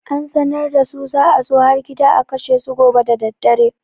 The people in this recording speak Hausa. An sanar da su za a zo har gida a kashe su gobe daddare.